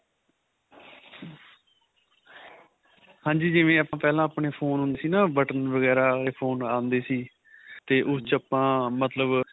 ਹਾਂਜੀ ਜਿਵੇਂ ਆਪਾਂ ਪਹਿਲਾਂ ਆਪਣੇ phone ਸੀ ਨਾ button ਵਗੈਰਾ ਵਾਲੇ phone ਆਂਦੇ ਸੀ ਤੇ ਉਸ ਚ ਆਪਾਂ ਮਤਲਬ